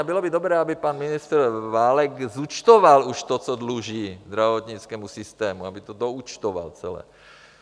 A bylo by dobré aby pan ministr Válek zúčtoval už to, co dluží zdravotnickému systému, aby to doúčtoval celé.